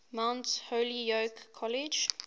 mount holyoke college